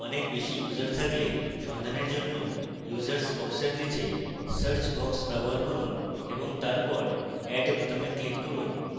অনেক বেশী users থাকলে সন্ধানের জন্য users box এর নীচে search box ব্যবহার করুন